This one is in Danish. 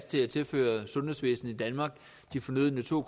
til at tilføre sundhedsvæsenet i danmark de fornødne to